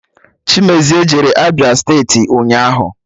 Chimezie jere Abịa steeti ụnyaahụ